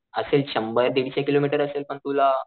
असेल शंभर दीडशे किलोमीटर असेल पण तुला,